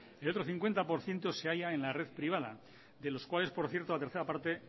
el otro cincuenta por ciento se halla en la red privada de los cuales por cierto la tercer parte